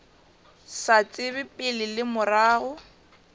sa tsebe pele le morago